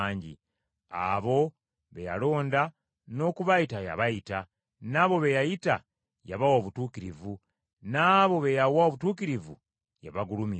Abo be yalonda, n’okubayita yabayita, n’abo be yayita, yabawa obutuukirivu, n’abo be yawa obutuukirivu yabagulumiza.